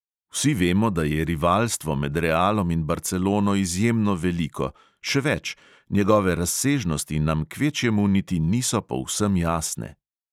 Vsi vemo, da je rivalstvo med realom in barcelono izjemno veliko, še več, njegove razsežnosti nam kvečjemu niti niso povsem jasne.